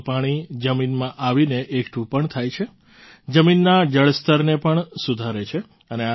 વાદળનું પાણી જમીનમાં આવીને એકઠું પણ થાય છે જમીનના જળસ્તરને પણ સુધારે છે